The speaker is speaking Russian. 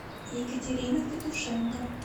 екатерина петушенко